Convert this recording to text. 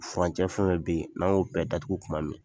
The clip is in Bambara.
Furancɛ fɛnfɛn bɛ yen n'an y'o bɛɛ datugu tuma min